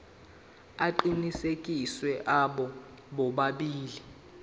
aqinisekisiwe abo bobabili